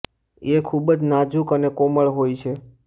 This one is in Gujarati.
એ ખૂબ જ નાજુક અને કોમળ હોય છે